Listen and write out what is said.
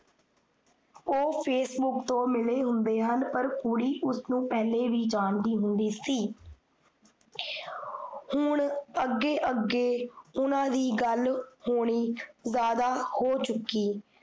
ਓਹ facebook ਤੋਂ ਮਿਲੇ ਹੁੰਦੇ ਹਨ ਪਰ ਕੁੜੀ ਉਸਨੂੰ ਪਿਹਲੇ ਵੀ ਜਾਣਦੀ ਹੁੰਦੀ ਸੀ। ਹੁਣ ਅੱਗੇ ਅੱਗੇ ਓਹਨਾਂ ਦੀ ਗੱਲ ਹੋਣੀ ਜਾਦਾ ਹੋ ਚੁੱਕੀ